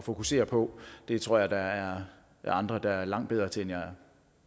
fokusere på det tror jeg der er andre der er langt bedre til end jeg er